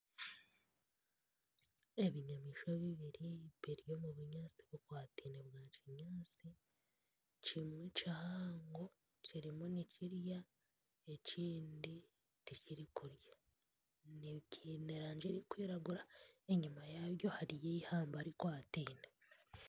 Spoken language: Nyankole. Ebinyamaishwa bibiri biri omu binyaatsi kimwe kihango kirimu nikirya ekindi tikirikurya biine erangi erikwiragura enyima yaabyo hariyo eihamba rikwatiine